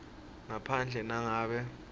ngaphandle nangabe